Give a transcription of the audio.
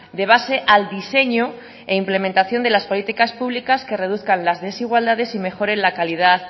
de base al diseño e implementación de las políticas públicas que reduzcan las desigualdades y mejore la calidad